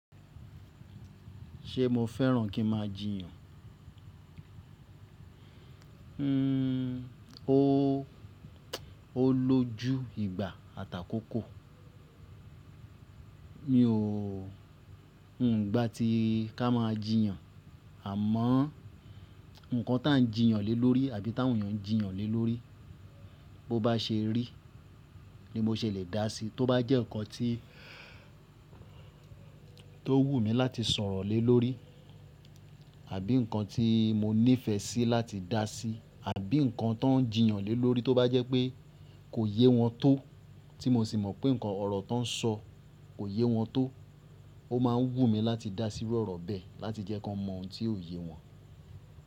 Ṣé mo fẹ́ràn kí n máa jiyàn? Ó lójú ìgbà àtàkókò. Mi ò, n gba ti ká máa jiyàn. Àmọ́, ǹnkan tà ń jiyàn lé lórí àbí tá awoǹ eeyàn jiyàn lé lórí, bó bá ṣe rí, ni mo ṣe lè dá sí. Tóbá jẹ́ ǹnkan tí tó wù mí láti sọ̀rọ̀ lé lórí, àbí ǹnkan tí mo nífẹ̀ẹ́ sí láti dá sí, àbí ǹnkan tan ń jiyàn lé lórí, tó bá jẹ́ pé kò yé wọn tó, tí mo sì mọ̀ pé ǹnkan ọ̀rọ̀ tọ́ ń sọ kò yé wọn tó, ó máa ń wù mí láti dá sí iru ọ̀rọ̀ bẹ́ẹ̀, láti jẹ́ kan mọ ohun tí ò yé wọn.